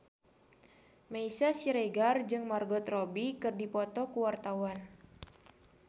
Meisya Siregar jeung Margot Robbie keur dipoto ku wartawan